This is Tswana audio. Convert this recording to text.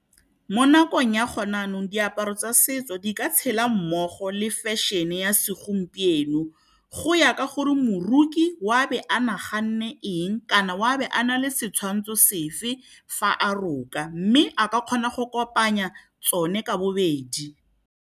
Mo nakong ya gone jaanong, diaparo tsa setso di ka tshela mmogo le fashion-e ya segompieno. Go ya ka gore moroki oa be a naganne eng kana wa be a na le setshwantsho sefe fa a roka, mme a ka kgona go kopanya tsone ka bobedi